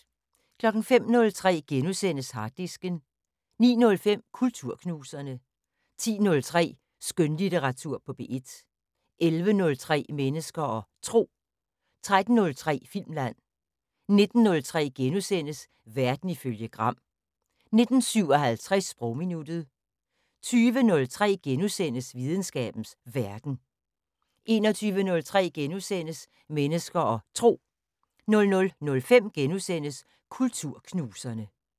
05:03: Harddisken * 09:05: Kulturknuserne 10:03: Skønlitteratur på P1 11:03: Mennesker og Tro 13:03: Filmland 19:03: Verden ifølge Gram * 19:57: Sprogminuttet 20:03: Videnskabens Verden * 21:03: Mennesker og Tro * 00:05: Kulturknuserne *